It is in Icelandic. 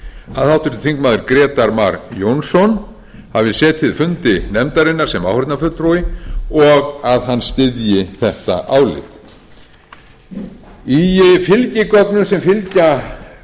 að háttvirtir þingmenn grétar mar jónsson hafi setið fundi nefndarinnar sem áheyrnarfulltrúi og að hann styðji þetta álit í fylgigögnum sem fylgja